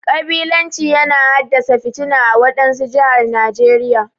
Kabilanci yana haddasa fitina ã wadansu jihar Najeriya.